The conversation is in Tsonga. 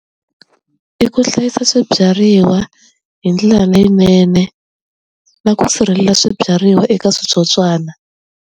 I ku hlayisa swibyariwa hi ndlela leyinene na ku sirhelela swibyariwa eka switsotswana.